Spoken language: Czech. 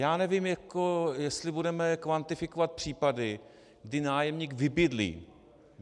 Já nevím, jestli budeme kvantifikovat případy, kdy nájemník vybydlí.